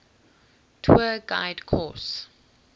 tour guide course